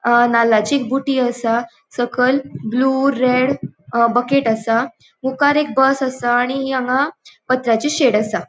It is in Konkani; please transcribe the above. अ नाल्लाची बूटी असा सकयल ब्लू रेड बकेट असा मुकार एक बस असा आणि हांगा पत्राची शेड असा.